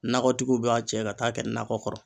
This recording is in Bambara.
Nakɔtigiw b'a cɛ ka taa kɛ nakɔ kɔrɔ.